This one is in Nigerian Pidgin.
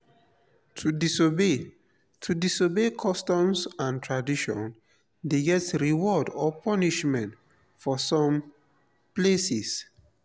to disobey to disobey customs and traditions de get reward or punishment for some places